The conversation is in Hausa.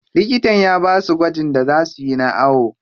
Likitan ya basu gwajin da za suyi na awo.